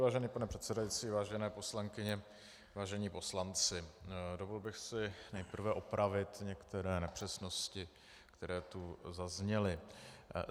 Vážený pane předsedající, vážené poslankyně, vážení poslanci, dovolil bych si nejprve opravit některé nepřesnosti, které tu zazněly.